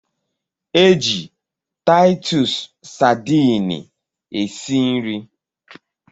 E ji taitus Sadini esi nri